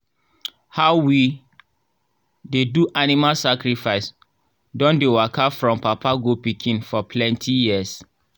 how we dey do animal sacrifice don dey waka from papa go pikin for plenty years.